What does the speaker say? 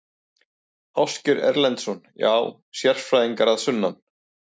Ásgeir Erlendsson: Já, sérfræðingar að sunnan?